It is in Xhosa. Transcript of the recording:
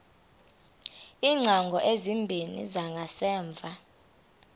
iingcango ezimbini zangasemva